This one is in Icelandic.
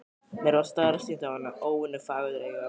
Mér varð starsýnt á hana, óvenju fagureyga.